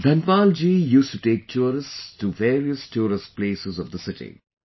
Dhanpal ji used to take tourists to various tourist places of the city